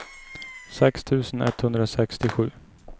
sex tusen etthundrasextiosju